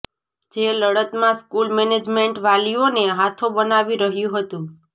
જે લડતમાં school management વાલીઓને હાથો બનાવી રહ્યું હતું